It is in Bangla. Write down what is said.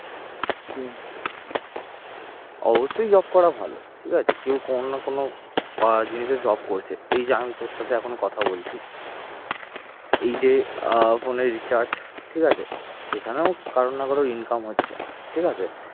অবশ্যই job করা ভালো ঠিক আছে কেউ কোন না কোন বা জিনিসের job করছে। এই যে আমি তোর সাথে এখন কথা বলছি এই যে phone র recharge ঠিক আছে? এখানেও কারো না কারো income হচ্ছে। ঠিক আছে